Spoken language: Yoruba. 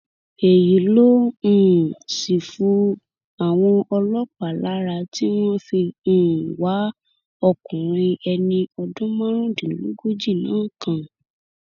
èyí ló um sì fu àwọn ọlọpàá lára tí wọn fi um wá ọkùnrin ẹni ọdún márùndínlógójì náà kàn